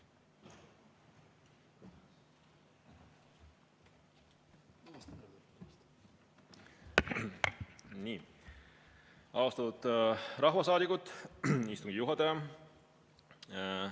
Austatud rahvasaadikud, istungi juhataja!